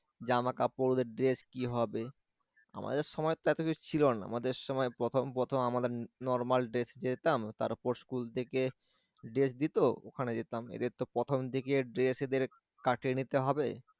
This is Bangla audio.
জামা কাপড় ওদের dress কি হবে আমাদের সময় তো এত কিছু ছিল না আমাদের সময় প্রথম প্রথম আমাদের normal dress এ যেতাম তারপরে school থেকে dress দিত ওখানে যেতাম এদের তো প্রথম থেকে dress এদের কাটিয়ে নিতে হবে